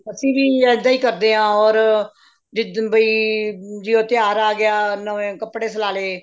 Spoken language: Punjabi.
ਅਸੀਂ ਵੀ ਇੱਦਾਂ ਹੀ ਕਰਦੇ ਹਾਂ or ਜਿੱਦਨ ਵੀ ਤਿਉਹਾਰ ਆ ਗਿਆ ਨਵੇਂ ਕੱਪੜੇ ਸਲਾਂਲੇ